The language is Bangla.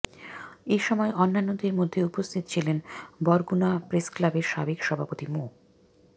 এসময় অন্যান্যদের মধ্যে উপস্থিত ছিলেন বরগুনা প্রেসক্লাবের সাবেক সভাপতি মো